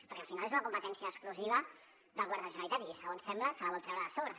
perquè al final és una competència exclusiva del govern de la generalitat i segons sembla se la vol treure de sobre